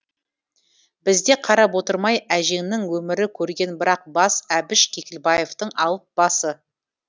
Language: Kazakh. біз де қарап отырмай әжеңнің өмірі көргені бір ақ бас әбіш кекілбаевтің алып басы